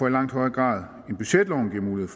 langt højere grad end det budgetloven giver mulighed